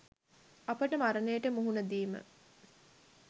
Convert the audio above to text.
අපට මරණයට මුහුණ දීම